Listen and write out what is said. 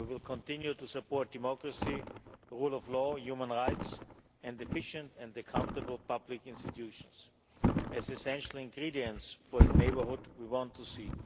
We will continue to support democracy, the rule of law, human rights, and efficient and accountable public institutions as essential ingredients for the neighbourhood we want